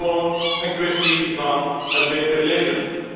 Gewoon een kwestie van een beter leven.